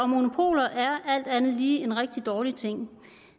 monopoler er alt andet lige en rigtig dårlig ting